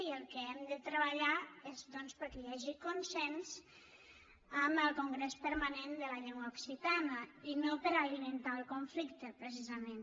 i pel que hem de treballar és doncs perquè hi hagi consens amb el congrés permanent de la llengua occitana i no per alimentar el conflicte precisament